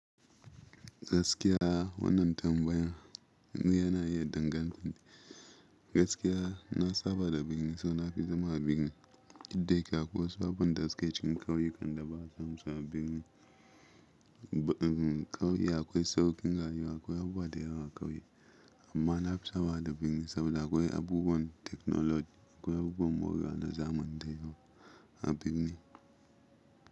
Gaskiya wannan tambaya yana iya dangantaka. Gaskiya na saba da birni so nafi zama a birni. Duk da yake akwai sababbin daske cikin ƙauyukan da ba a samu su a birni. Ƙauye akwai sauƙin rayuwa akwai abubuwa da yawa a ƙauye amma na fi saba da birni saboda akwai abubuwan teknoloji akwai abubuwan morewa nda zamanten yau a birni.